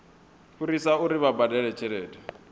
fhirisa uri vha badele tshelede